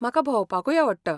म्हाका भोंवपाकूय आवडटा .